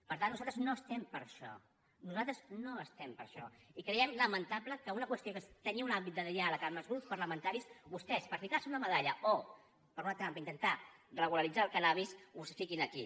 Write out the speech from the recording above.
per tant nosaltres no estem per això nosaltres no estem per això i creiem lamentable que una qüestió que tenia un àmbit de diàleg amb els grups parlamentaris vostès per ficar se una medalla o per un altre àmbit intentar regularitzar el cànnabis ho fiquin aquí